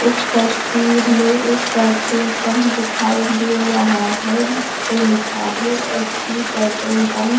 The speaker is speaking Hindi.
इस तस्वीर में एक पेट्रोल पंप दिखाई दे रहा है जिसपे लिखा है एच.पी. Petrol pump.